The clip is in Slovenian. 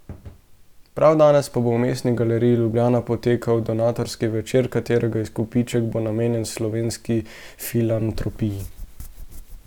Prav danes pa bo v Mestni galeriji Ljubljana potekal donatorski večer, katerega izkupiček bo namenjen Slovenski filantropiji.